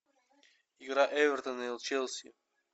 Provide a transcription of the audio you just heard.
игра эвертона и челси